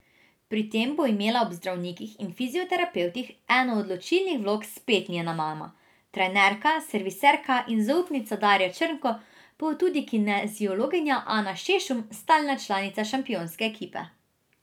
Pri tem bo imela ob zdravnikih in fizioterapevtih eno odločilnih vlog spet njena mama, trenerka, serviserka in zaupnica Darja Črnko, pa tudi kineziologinja Anja Šešum, stalna članica šampionske ekipe.